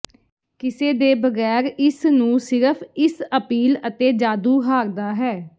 ਕਿੱਸੇ ਦੇ ਬਗੈਰ ਇਸ ਨੂੰ ਸਿਰਫ਼ ਇਸ ਅਪੀਲ ਅਤੇ ਜਾਦੂ ਹਾਰਦਾ ਹੈ